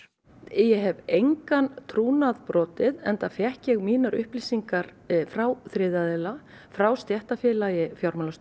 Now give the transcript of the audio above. ég hef engan trúnað brotið enda fékk ég mínar upplýsingar frá þriðja aðila frá stéttarfélagi